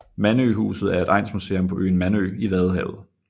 Mandøhuset er et egnsmuseum på øen Mandø i vadehavet